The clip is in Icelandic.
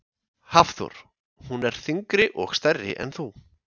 Hafþór: Hún er þyngri og stærri en þú?